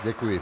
Děkuji.